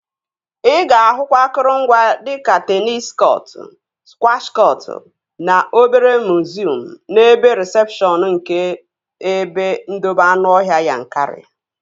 Ị ga-ahụkwa akụrụngwa dika teenis kọtụ, skwash kọtụ na obere miziọm n'ebe rịsepshọn nke ebe ndobe anụọhịa Yankari